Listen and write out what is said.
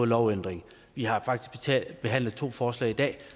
lovændring vi har faktisk behandlet to forslag i dag